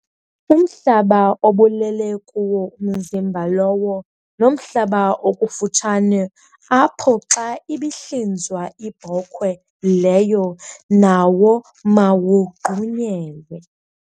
Umhlaba obulele kuwo umzimba lowo nomhlaba okufutshane apho xa ibihlinzwa ibhokhwe leyo, nawo mawugqunyelwe.